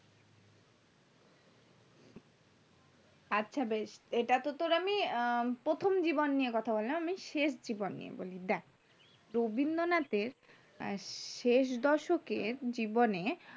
আচ্ছা বেশ এটাতে তোর আমি আহ প্রথম জীবন নিয়ে কথা বললাম আমি এবার শেষ জীবন নিয়ে বলি দেখ রবীন্দ্রনাথ এর শেষ দশক এর জীবনে এ